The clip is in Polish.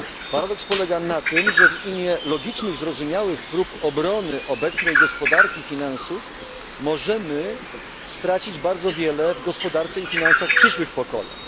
Paradoks polega na tym, że w imię logicznych i zrozumiałych prób obrony obecnej gospodarki finansów możemy stracić bardzo wiele w gospodarce i finansach przyszłych pokoleń.